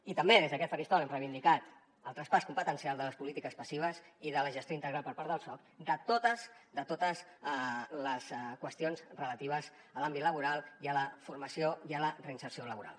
i també des d’aquest faristol hem reivindicat el traspàs competencial de les polítiques passives i de la gestió integral per part del soc de totes de totes les qüestions relatives a l’àmbit laboral i a la formació i a la reinserció laboral